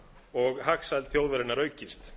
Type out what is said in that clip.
og hagsæld þjóðarinnar aukist